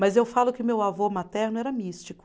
Mas eu falo que meu avô materno era místico.